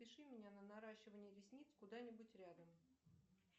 запиши меня на наращивание ресниц куда нибудь рядом